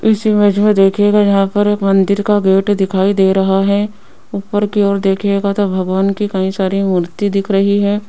इस इमेज में देखिएगा यहां पर एक मंदिर का गेट दिखाई दे रहा है ऊपर की ओर देखिएगा तो भगवान की कई सारी मूर्ति दिख रही है।